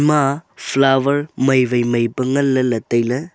ema a flower mai wai mai pa nganley ley tailey.